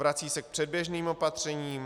Vrací se k předběžným opatřením.